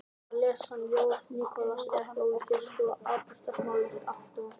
Að lesa ljóð Nikolajs er ekki ólíkt því að skoða abstraktmálverk við atónalt undirspil.